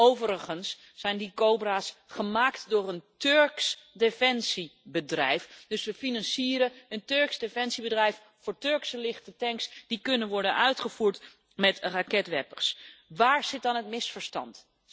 Overigens zijn die Cobra's gemaakt door een Turks defensiebedrijf, dus we financieren een Turks defensiebedrijf voor Turkse lichte tanks die kunnen worden uitgerust met raketwerpers. Waar zit dan het misverstand?